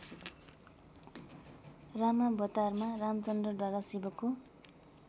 रामावतारमा रामचन्द्रद्वारा शिवको